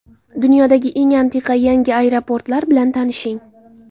Dunyodagi eng antiqa yangi aeroportlar bilan tanishing.